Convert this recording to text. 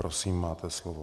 Prosím, máte slovo.